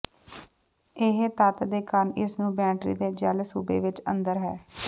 ਇਹ ਤੱਤ ਦੇ ਕਾਰਨ ਇਸ ਨੂੰ ਬੈਟਰੀ ਦੇ ਜੈੱਲ ਸੂਬੇ ਵਿਚ ਅੰਦਰ ਹੈ